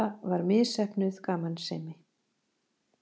Þetta var misheppnuð gamansemi.